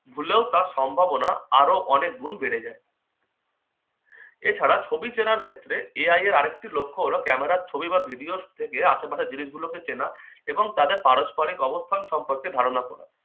ভুলেও তার সম্ভাবনা আরো অনেক গুণ বেড়ে যায়। এছাড়া ছবি চেনার ক্ষেত্রে AI এর আরেকটি লক্ষ্য হলো camera র ছবি বা video থেকে আশেপাশের জিনিসগুলোকে চেনা এবং তাদের পারস্পারিক অবস্থান সম্পর্কে ধারণা করা।